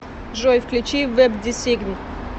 джой включи вэбдесигн